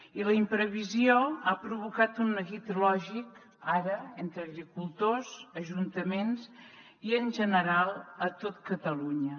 i la imprevisió ha provocat un neguit lògic ara entre agricultors ajuntaments i en general a tot catalunya